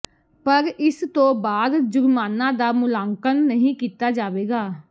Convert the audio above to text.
ਪਰ ਇਸ ਤੋਂ ਬਾਅਦ ਜੁਰਮਾਨਾ ਦਾ ਮੁਲਾਂਕਣ ਨਹੀਂ ਕੀਤਾ ਜਾਵੇਗਾ